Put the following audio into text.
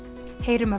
segjum